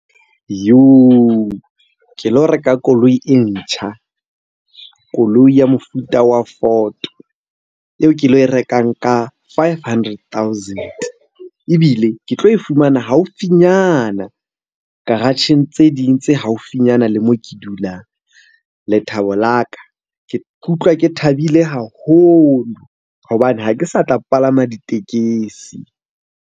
Ke lo reka koloi e ntjha, koloi ya mofuta wa Ford. Eo ke lo e rekang ka five hundred thousand-e, ebile ke tlo e fumana haufinyana garage-eng tse ding tse haufinyana le moo ke dulang. Lethabo la ka, ke utlwa ke thabile haholo hobane ha ke sa tla palama ditekesi.